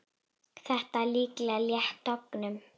Þetta er líklega létt tognun.